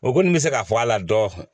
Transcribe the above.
O kɔni bɛ se ka fɔ a la dɔ